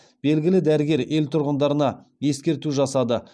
белгілі дәрігер ел тұрғындарына ескерту жасады